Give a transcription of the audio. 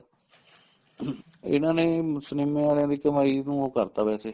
ਇਹਨਾ ਨੇ ਸਨੀਮੇ ਵਾਲੀਆਂ ਦੀ ਕਮਾਈ ਨੂੰ ਉਹ ਕਰਤਾ ਵੈਸੇ